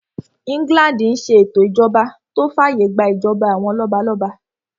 England n ṣe ètò ìṣèjọba tó fàyè gbà ìjọba àwọn lọ́balọ́ba